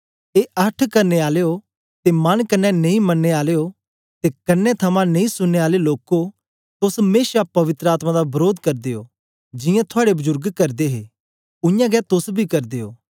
ए अहठ करने आलयो ते मन कन्ने नेई मननें आलयो ते कन्ने थमां नेई सुनने आले लोको तोस मेशा पवित्र आत्मा दा वरोध करदे ओ जियां थुआड़े बजुर्ग करदे हे उय्यां गै तोस बी करदे ओ